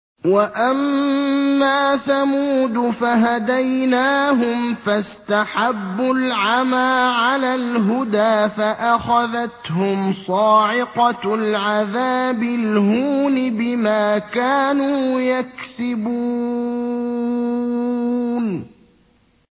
وَأَمَّا ثَمُودُ فَهَدَيْنَاهُمْ فَاسْتَحَبُّوا الْعَمَىٰ عَلَى الْهُدَىٰ فَأَخَذَتْهُمْ صَاعِقَةُ الْعَذَابِ الْهُونِ بِمَا كَانُوا يَكْسِبُونَ